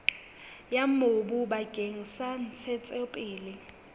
ya mobu bakeng sa ntshetsopele